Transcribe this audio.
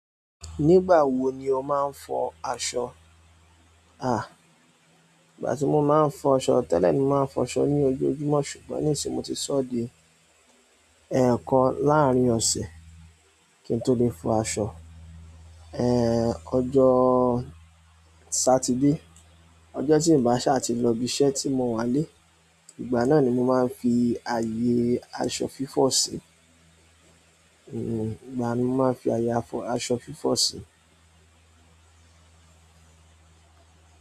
Nígbà wo ni o máa ń fọ aṣọ? Ìgbà tí mo máa ń fọ aṣọ tẹ́lẹ̀ ni mó máa ń fọ aṣọ ní ojoojúmọ́ ṣùgbọ́n nísìnyí mo ti sọ́ di ẹ̀ẹ̀kan láàrin ọ̀sẹ̀ kí n tó lè fọ aṣọ. Ọjọ́ sátidé ọjọ́ tí n bá sa ti lọ ibi iṣẹ́ tí mo wà ń lè, ìgbà náà ni mo máa ń fi ààyè aṣọ fífọ̀ sí ìgbà yẹn ni mo máa ń fi àyè aṣọ fífọ̀ sí.